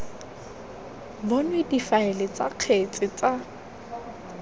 bonwe difaele tsa kgetse tsa